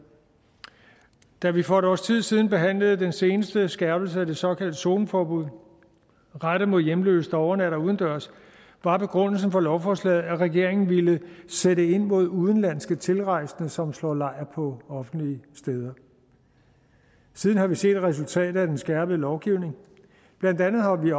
da vi for et års tid siden behandlede den seneste skærpelse af det såkaldte zoneforbud rettet mod hjemløse der overnatter udendørs var begrundelsen for lovforslaget at regeringen ville sætte ind mod udenlandske tilrejsende som slår lejr på offentlige steder siden har vi set resultatet af den skærpede lovgivning blandt andet har vi